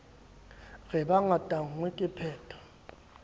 re be ngatanngwe ke pheto